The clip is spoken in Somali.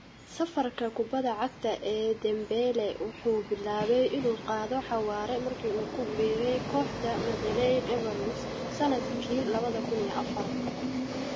Safarka kubadda cagta ee Dembélé wuxuu bilaabay inuu qaado xawaare markii uu ku biiray kooxda Madeleine Evreux sanadkii 2004.